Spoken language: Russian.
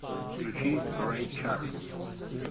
включи рэй чарльз